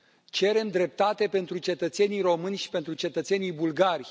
Cerem dreptate pentru cetățenii români și pentru cetățenii bulgari.